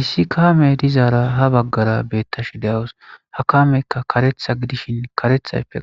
Issi kamey dizara ha baggara betashshe dawus ha kameykka kareththa gidishin karethayippe